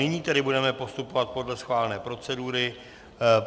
Nyní tedy budeme postupovat podle schválené procedury.